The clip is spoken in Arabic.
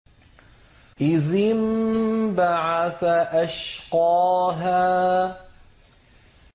إِذِ انبَعَثَ أَشْقَاهَا